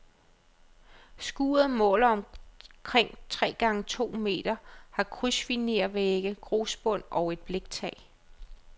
Skuret måler omkring tre gange to meter, har krydsfinervægge, grusbund og et bliktag.